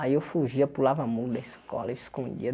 Aí eu fugia pulava muro da escola, eu escondia.